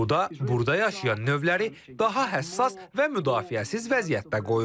Bu da burada yaşayan növləri daha həssas və müdafiəsiz vəziyyətdə qoyur.